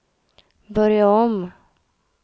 börja om